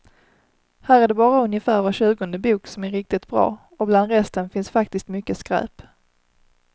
Här är det bara ungefär var tjugonde bok som är riktigt bra, och bland resten finns faktiskt mycket skräp.